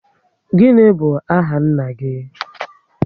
What is your father's name?